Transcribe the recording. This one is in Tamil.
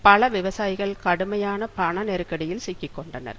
பல விவசாயிகள் கடுமையான பண நெருக்கடியில் சிக்கிக்கொண்டனர்